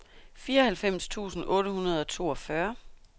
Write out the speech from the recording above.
fireoghalvfems tusind otte hundrede og toogfyrre